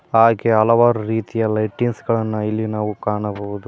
ಹಾಗೆ ಹಲವಾರು ರೀತಿಯ ಲೈಟಿಂಗ್ಸ್ ಗಳನ್ನು ಇಲ್ಲಿ ನಾವು ಕಾಣಬಹುದು.